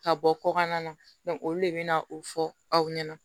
Ka bɔ kɔkan na olu de bɛ na o fɔ aw ɲɛna